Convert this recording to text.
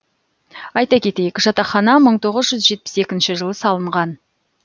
айта кетейік жатақхана мың тоғыз жетпіс екінші жылы салынған